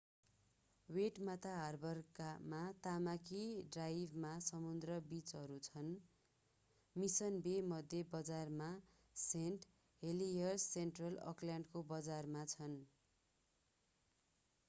Waitemata हार्बरमा Tamaki ड्राइभमा समुद्री बिचहरू छन् मिशन बे मध्य बजारमा र सेन्ट हेलियर्स सेन्ट्रल अकल्यान्डको बजारमा छन्‌।